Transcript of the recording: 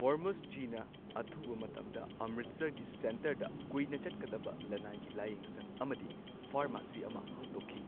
ꯍꯣꯔꯃꯨꯁꯖꯤꯅ ꯑꯊꯨꯕ ꯃꯇꯝꯗ ꯑꯝꯔꯤꯠꯁꯔꯒꯤ ꯁꯦꯟꯇꯔꯗ ꯀꯨꯢꯅ ꯆꯠꯀꯗꯕ ꯂꯅꯥꯏꯒꯤ ꯂꯥꯏꯌꯦꯡꯁꯪ ꯑꯃꯗꯤ ꯐꯥꯔꯃꯥꯁꯤ ꯑꯃ ꯍꯥꯡꯗꯣꯛꯈꯤ꯫